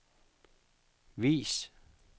vis